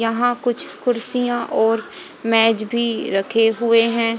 यहां कुछ कुर्सियां और मेज भी रखे हुए हैं।